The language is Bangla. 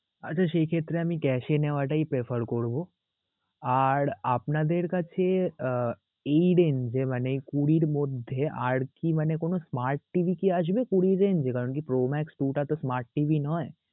আচ্ছা সেই ক্ষেত্রে আমি cash নেওয়াটাই prefer করবো. আর আপনাদের কাছে আহ এই range এ মানে কুঁড়ির মধ্যে আর কি মানে কোন smart TV কি আসবে কুঁড়ির range এ? কারণ কি pro max TV টা তো smart TV নয়